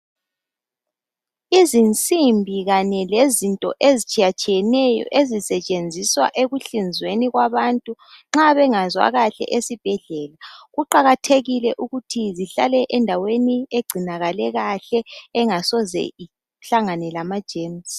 Izinsimbi kanye lezikhali ezitshiyeneyo ezisetshenziswa ukuhlinza abantu nxa bengezwa kuhle esibhedlela kuqakathekile ukuthi zihlale endaweni ehlanzekileyo engasoze ihlangane lamagcikwane athile.